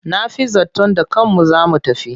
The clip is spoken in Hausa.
Na fi zaton da kanmu za mu tafi.